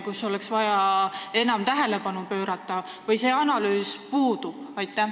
Kus oleks vaja sellele enam tähelepanu pöörata või see analüüs puudub?